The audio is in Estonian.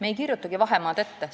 Me ei kirjutagi vahemaad ette.